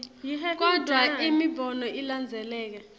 kodvwa imibono ilandzeleka